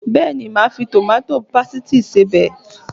Bẹ́ẹ̀ni, màá fi tòmátó pésìtì ṣe ọbẹ̀